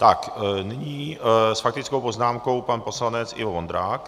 Tak nyní s faktickou poznámkou pan poslanec Ivo Vondrák.